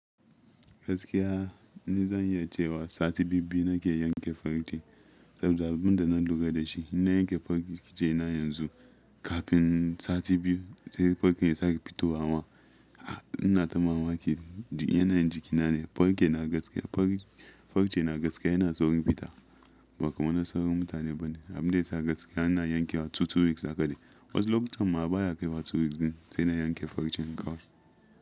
Gaskiya ni zan yi cewa sati biyu-biyu na ke yanke farin ce saboda abin da na lura da shi. Inna yanke farce na yanzu kafin sati biyu sai farce ya sake fitowa ma. Ina ta mamaki yanayin jikina ne, farke na gaskiya far, farce nagaskiya yana saurin fita ba kamar na sauran mutane bane. Abin da yasa gaskiya ina yanke wa 2-2 weeks haka ɗai. Wasu lokutan ma a baya kai wa 2 weeks din sai na yanke farcen kawai.